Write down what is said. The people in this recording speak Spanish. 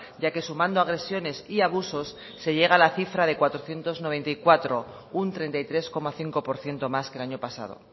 ya que sumando agresiones y abusos se llega a la cifra de cuatrocientos noventa y cuatro un treinta y tres coma cinco por ciento más que el año pasado